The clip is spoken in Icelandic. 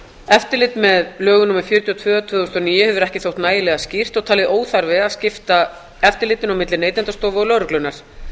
eftirlit með lögum númer fjörutíu og tvö tvö þúsund og níu hefur ekki þótt nægilega skýrt og talið óþarfi að skipta eftirlitinu á milli neytendastofu og lögreglunnar